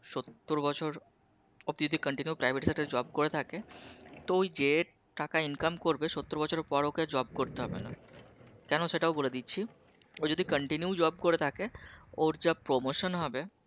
বছর ও যদি Continue Private Sector Job করে থাকে তো ওই যে টাকা Income করবে বছরের পর ওকে আর Job করতে হবে না। কেন সেটাও বলে দিচ্ছি ও যদি Continue Job করে থাকে ওর যা Promotion হবে